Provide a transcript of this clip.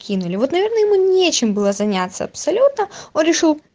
кинули вот наверное ему нечем было заняться абсолютно он решил